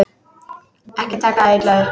Ekki taka það illa upp.